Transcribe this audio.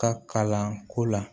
Ka kalanko la